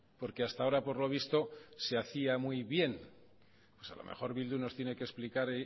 porque hasta ahora por lo visto se hacía muy bien pues a lo mejor bildu nos tiene que explicar